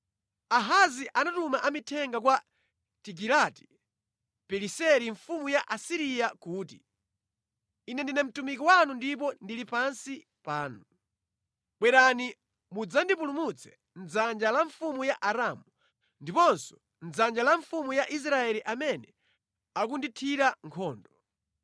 Ahazi anatuma amithenga kwa Tigilati-Pileseri mfumu ya ku Asiriya kuti, “Ine ndine mtumiki wanu ndipo ndili pansi panu. Bwerani mudzandipulumutse mʼdzanja la mfumu ya Aramu ndiponso mʼdzanja la mfumu ya Israeli amene akundithira nkhondo.”